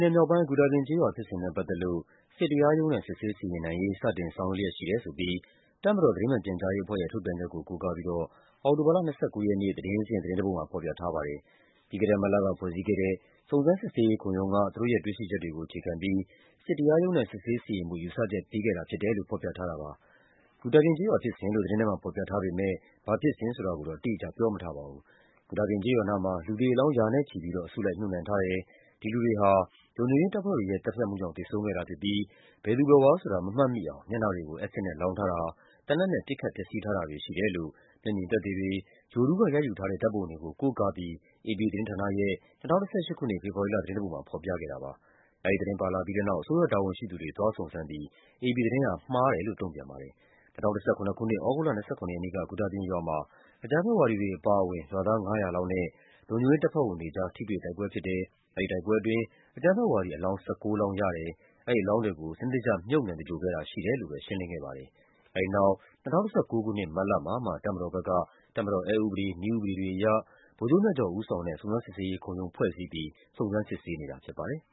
နယ်မြောက်ပိုင်း၊ ဂူတာပြင်ကျေးရွာ ဖြစ်စဉ်နဲ့ ပတ်သက်လို့ စစ်တရားရုံးနဲ့ စစ်ဆေး စီရင်နိုင်ရေး စတင်ဆောင်ရွက်လျက် ရှိတယ်ဆိုပြီး တပ်မတော် သတင်းမှန်ပြန်ကြားရေးအဖွဲ့ရဲ့ ထုတ်ပြန်ချက်ကို ကိုးကားပြီးတော့ အောက်တိုဘာလ ၂၉ ရက်နေ့ သတင်းစဉ် သတင်းတပုဒ်မှာ ဖော်ပြထားပါတယ်။ ပြီးခဲ့တဲ့မတ်လက ဖွဲ့စည်းခဲ့တဲ့ စုံစမ်းစစ်ဆေးရေးခုံရုံးက သူတို့ရဲ့တွေ့ရှိချက်တွေကို အခြေခံပြီး စစ်တရားရုံးနဲ့ စစ်ဆေးစီရင်ဖို့ ယူဆချက်ပေးခဲ့တာဖြစ်တယ် လို့ ဖော်ပြထားတာပါ။ ဂူတာပြင်ကျေးရွာဖြစ်စဉ်လို့ သတင်းထဲမှာ ဖော်ပြထားပေမယ့် ဘာဖြစ်စဉ်ဆိုတာကိုတော့ အတိအကျ ပြောမထားပါဘူး။ ဂူတာပြင်ကျေးရွာနားမှာ လူသေအလောင်း ရာနဲ့ချီပြီးတော့ အစုလိုက်မြှုပ်နှံထားတယ်၊ ဒီလူတွေဟာ လုံခြုံရေးတပ်ဖွဲ့တွေရဲ့ သတ်ဖြတ်မှုကြောင့် သေဆုံးခဲ့တာဖြစ်ပြီး ဘယ်သူဘယ်ဝါဆိုတာ မမှတ်မိအောင် မျက်နှာတွေကို အက်ဆစ်နဲ့ လောင်းထားတာ၊ သေနတ်နဲ့ ပစ်ခတ်ဖျက်ဆီးထားတာတွေ ရှိတယ်လို့ မျက်မြင်သက်သေတွေ၊ ဂြိုဟ်တုကရိုက်ယူထားတဲ့ ဓာတ်ပုံတွေကို ကိုးကား ပြီး AP သတင်းဌာနရဲ့ ၂၀၁၈ ခုနှစ် ဖေဖော်ဝါရီလ သတင်းတပုဒ်မှာ ဖော်ပြခဲ့ပါတယ်။ အဲဒီသတင်း ပါလာပြီးတဲ့နောက် အစိုးရတာဝန်ရှိသူတွေ သွားစုံစမ်းပြီး AP သတင်းဟာ မှားတယ်လို့ တုန့်ပြန်ခဲ့ပါတယ်။ ၂၀၁၇ ခုနှစ်၊ သြဂုတ်လ ၂၇ ရက်နေ့က ဂူတာပြင်ရွာမှာ အကြမ်းဖက်ဝါဒီတွေ အပါအဝင် ရွာသား ၅၀၀ လောက်နဲ့ လုံခြုံရေးတပ်ဖွဲ့ဝင်တွေ ကြား ထိတွေ့တိုက်ပွဲဖြစ်တယ်၊ အဲဒီတိုက်ပွဲအတွင်း အကြမ်းဖက်ဝါဒီ အလောင်း ၁၉ လောင်းရတယ်၊ အဲဒီအလောင်းတွေကို စနစ် တကျမြှုပ်နှံသဂြိ ၤုဟ်ခဲ့တာရှိတယ်လို့ ရှင်းလင်းခဲ့ပါတယ်။ အဲဒီနောက် ၂၀၁၉ ခုနှစ် မတ်လမှာမှ တပ်မတော်ဘက်က တပ်မတော်အက်ဥပဒေ၊ နည်းဥပဒေတွေအရ ဗိုလ်ချုပ်မြတ်ကျော် ဦးဆောင်တဲ့ စုံစမ်းစစ်ဆေးရေးခုံရုံး ဖွဲ့စည်းပြီး စုံစမ်းစစ်ဆေးခဲ့တာဖြစ်ပါတယ်။